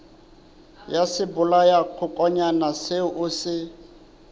ya sebolayakokwanyana seo o se